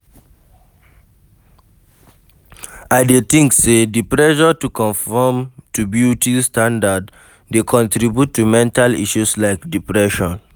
I dey think say di pressure to conform to beauty satndard dey contribute to mental issue like depression.